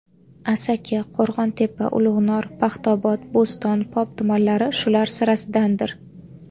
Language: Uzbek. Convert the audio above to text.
Asaka, Qo‘rg‘ontepa, Ulug‘nor, Paxtaobod, Bo‘ston, Pop tumanlari shular sirasidandir.